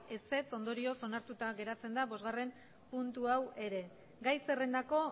ondorioz onartuta geratzen da bostgarrena puntu hau ere gai zerrendako